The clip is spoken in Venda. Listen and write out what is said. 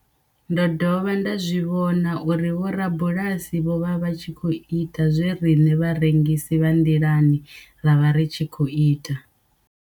Ndo dovha nda zwi vhona uri vhorabulasi vho vha vha tshi khou ita zwe riṋe vharengisi vha nḓilani ra vha ri tshi khou ita.